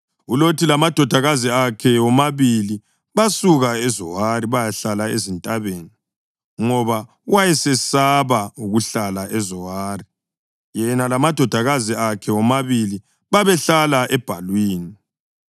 ULothi lamadodakazi akhe womabili basuka eZowari bayahlala ezintabeni, ngoba wayesesaba ukuhlala eZowari. Yena lamadodakazi akhe womabili babehlala ebhalwini.